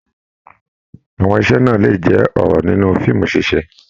Àwọn ise náà lè jẹ ọrọ nínú fíìmù ṣiṣe.